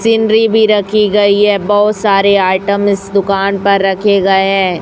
Scenery भी रखी गई है बहुत सारे आइटम्स इस दुकान पर रखे गए हैं।